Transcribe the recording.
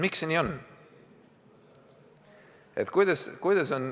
Miks see nii on?